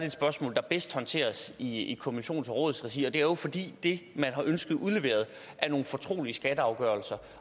et spørgsmål der bedst håndteres i kommissions og rådsregi og det er jo fordi det man har ønsket udleveret er nogle fortrolige skatteafgørelser